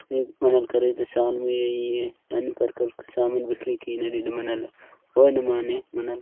ईग मानेल करे दे साम मि इन करकर सामन बिखरे की नीदल मेनल ऑन माने मिनल --